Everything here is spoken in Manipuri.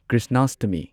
ꯀ꯭ꯔꯤꯁꯅꯥꯁꯇꯃꯤ